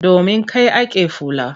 Domin kai ake fula.